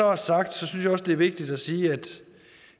er sagt synes jeg også det er vigtigt at sige